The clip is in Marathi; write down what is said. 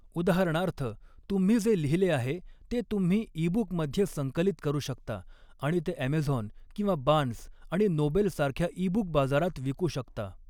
उदाहरणार्थ, तुम्ही जे लिहिले आहे ते तुम्ही ईबुकमध्ये संकलित करू शकता आणि ते ॲमेझॉन किंवा बार्न्स आणि नोबल्स सारख्या ईबुक बाजारात विकू शकता.